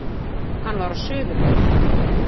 Hann var á suðurleið